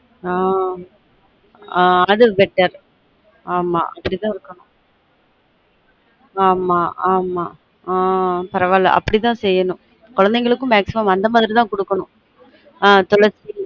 ஆஹ் உம் அது better அப்டி தான் இருக்கனும் ஆமா ஆமா ஆன் பரவாயில்ல அப்டி தான் செய்ய்னும் குழந்தைகளுக்கும் maximum அந்த மாதிரி தான் குடுக்கனு